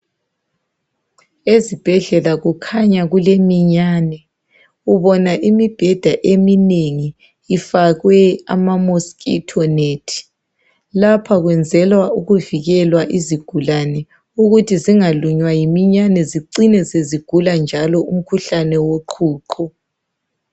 Ezibhedlela kukhanya kuleminyane. Ubona imibheda eminengi ifakwe ama "mosquito net".Lapha kwenzelwa ukuvikelwa izigulane ukuthi zingalunywa yiminyane zicine sezigula njalo umkhuhane woqhuqho.